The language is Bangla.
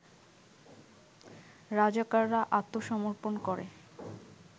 রাজাকাররা আত্মসমর্পন করে